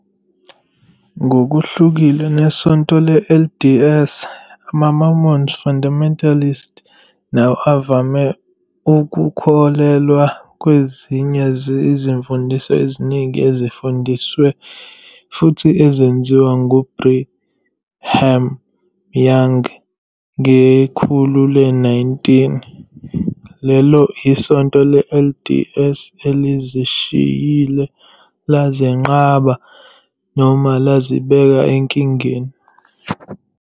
Ngokuhlukile neSonto le-LDS, ama-Mormon fundamentalists nawo avame ukukholelwa kwezinye izimfundiso eziningi ezifundiswe futhi zenziwa nguBrigham Young ngekhulu le-19, lelo iSonto le-LDS elizishiyile, lazenqaba, noma lazibeka enkingeni.